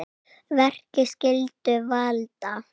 Verki skyldu valda